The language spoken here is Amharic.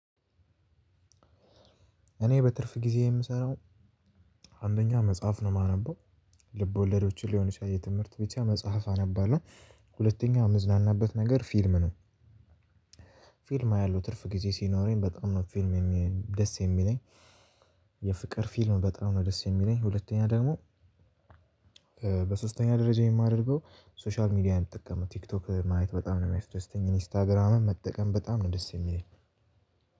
እኔ በትርፍ ጊዜዬ የምሰራው አንደኛ መጽሐፍ ነው የማነበው ልብ ወለዶችን ሊሆን ይችላል የትምህርት ብቻ መጽሐፍ አነባለሁ። ሁለተኛ የምዝናናበት ነገር ፊልም ነው። ፊልም አያለው ትርፍ ጊዜ ሲኖረኝ በጣም ነው ፊልም ደስ የሚለኝ። የፍቅር ፊልም በጣም ነው ደስ የሚለኝ። ሁለተኛ ደግሞ። በሶስተኛ ደረጃ የማደርገው ሶሻል ሚድያ ነው ምጠቀመው ቲክቶክ ማየት በጣም ነው ሚያስደስተኝ ኢንስታግራምም መጠቀም በጣም ነው ደስ የሚለኝ።